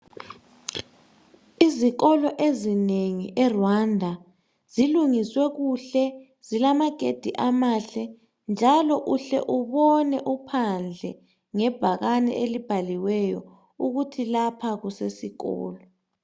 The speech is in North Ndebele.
Izikolo ezinengi eRwanda zilungiswe kuhle zilamagedi amahle njalo uhle ubone phandle ngebhakane elibhaliweyo ukuthi lapha kusesikolo.